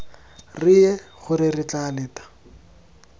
reye gore re tla leta